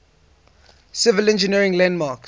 civil engineering landmarks